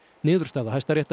niðurstaða Hæstaréttar